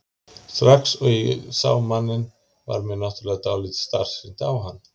Og strax og ég sé manninn varð mér náttúrlega dálítið starsýnt á hann.